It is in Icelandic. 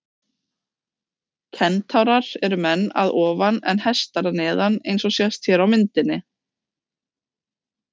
Kentárar eru menn að ofan en hestar að neðan eins og sést hér á myndinni.